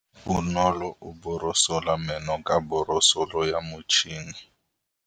Bonolô o borosola meno ka borosolo ya motšhine.